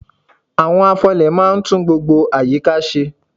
Àwọn afọlẹ̀ máa ń tún gbogbo àyíká ṣe.